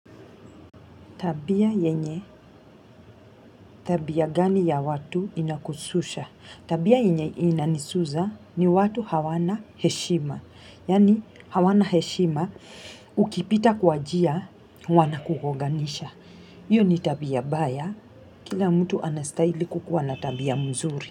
Tabia yenye tabia gani ya watu inakususha. Tabia yenye inanisuza ni watu hawana heshima. Yani hawana heshima ukipita kwa njia wanakugonganisha. Hiyo ni tabia mbaya. Kila mtu anastahili kuwa na tabia mzuri.